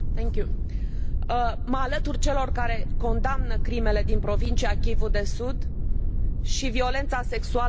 Mă alătur celor care condamnă crimele din provincia Kivu de Sud și violența sexuală ca armă de război.